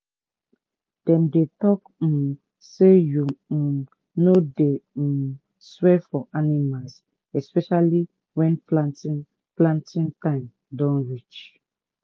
dem dey talk um say make you um no dey um swear for animals especially when planting planting time don reach